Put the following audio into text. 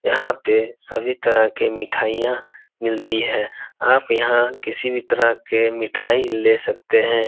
यहाँ पे सभी तरह के मिठाईयां मिलती हैं। आप यहाँ किसी भी तरह के मिठाई ले सकते हैं।